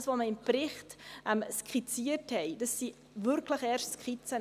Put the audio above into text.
Was wir im Bericht skizziert haben, sind wirklich erst Skizzen.